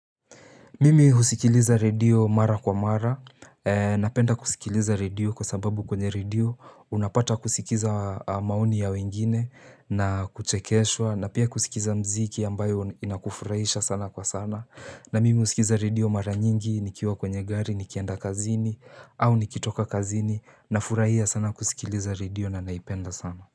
Mimi husikiliza redio mara kwa mara. Napenda kusikiliza redio kwa sababu kwenye redio unapata kusikiza maoni ya wengine na kuchekeswa, na pia kusikiza muziki ambayo inakufurahisha sana kwa sana. Na mimi husikiza redio mara nyingi nikiwa kwenye gari nikienda kazini au nikitoka kazini nafurahia sana kusikiliza redio na naipenda sana.